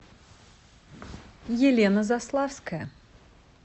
елена заславская